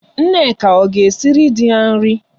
Nneka ọ ga-esiri di ya nri?